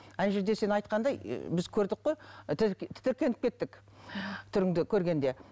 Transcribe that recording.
ана жерде сен айтқандай і біз көрдік қой тітіркеніп кеттік түріңді көргенде